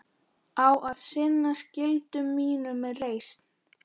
Á að sinna skyldu mínum með reisn.